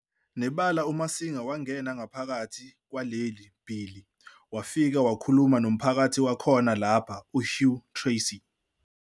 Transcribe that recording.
Nebala uMasinga wangena ngaphakithi kwaleli bhilii wafike wakhuluma nomphathi wakhona lapha uHugh Tracy.